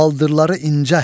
Baldırları incə.